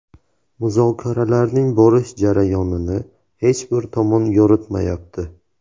Muzokaralarning borish jarayonini hech bir tomon yoritmayapti.